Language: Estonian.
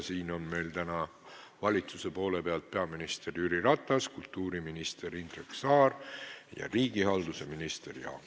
Siin on täna valitsusest peaminister Jüri Ratas, kultuuriminister Indrek Saar ja riigihalduse minister Jaak Aab.